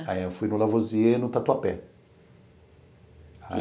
Aí eu fui no Lavoisier, no Tatuapé.